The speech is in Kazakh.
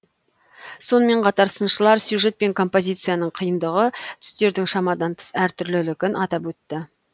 сонымен қатар сыншылар сюжет пен композицияның қиындығы түстердің шамадан тыс әртүрлілігін атап өтті